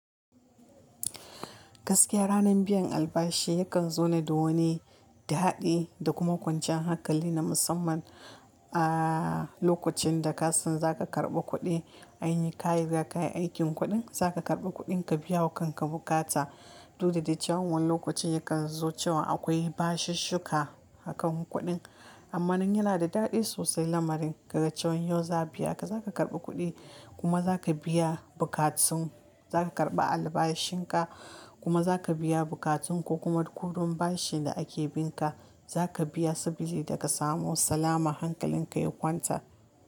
Gaskiya ranar biyan albashi yakan zo ne da wani daɗi da kuma kwanciyan hankali na musamman. Ahh, lokacin da ka san za ka karɓi kuɗi, ai ka riga kayi aikin kuɗin, za ka karɓi kuɗinka biya wa kan ka bukata. Duk da de cewan wani lokaci yakan zo cewa akwai bashishi shika a kan kuɗin. Amma nan yana da daɗi sosai lamarin. Kaga cewan yau za'a biya ka, za ka karɓi kuɗi kuma za ka biya bukatun, za ka karɓa albashin ka, kuma za ka biya bukatun ko kuma kuɗin bashin da ake binka, za ka biya sabili da ka samu salama hankalin ka ya kwanta.